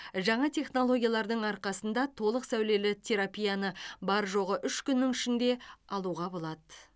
жаңа технологиялардың арқасында толық сәулелі терапияны бар жоғы үш күннің ішінде алуға болады